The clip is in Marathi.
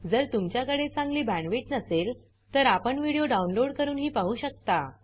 जर तुमच्याकडे चांगली बॅण्डविड्थ नसेल तर आपण व्हिडिओ डाउनलोड करूनही पाहू शकता